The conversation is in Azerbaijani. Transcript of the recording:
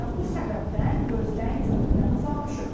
Elə bu səbəbdən gözdən könüldən uzaq düşüb.